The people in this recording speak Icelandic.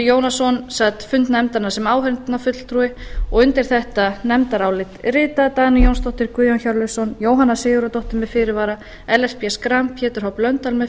jónasson sat fund nefndarinnar sem áheyrnarfulltrúi og undir þetta nefndarálit rita dagný jónsdóttir guðjón hjörleifsson jóhanna sigurðardóttir með fyrirvara ellert b schram pétur h blöndal með